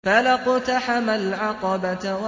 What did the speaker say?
فَلَا اقْتَحَمَ الْعَقَبَةَ